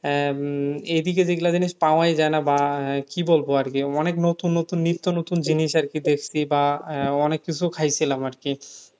আহ উম এদিকে যেগুলো জিনিস পাওয়াই যায় না বা আহ কি বলবো আর কি অনেক নতুন নতুন নিত্য নতুন জিনিস আর কি দেখছি বা আহ অনেক কিছু খাইছিলাম আরকি